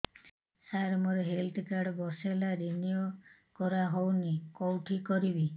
ସାର ମୋର health card ବର୍ଷେ ହେଲା ରିନିଓ କରା ହଉନି କଉଠି କରିବି